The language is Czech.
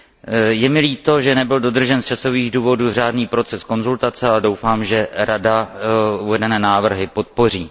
Je mi také líto, že nebyl dodržen z časových důvodů řádný proces konzultace, a doufám, že Rada uvedené návrhy podpoří.